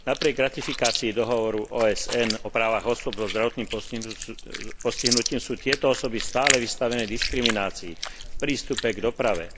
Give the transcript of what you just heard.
Napriek ratifikácii dohovoru OSN o právach osôb so zdravotným postihnutím sú tieto osoby stále vystavené diskriminácii v prístupe k doprave.